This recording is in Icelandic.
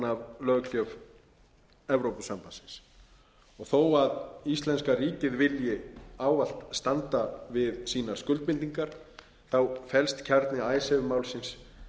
af löggjöf evrópusambandsins þó íslenska ríkið vilji ávallt standa við sínar skuldbindingar fellst kjarni icesave málsins